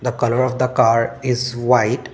the colour of the car is white.